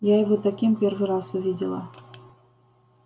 я его таким первый раз увидела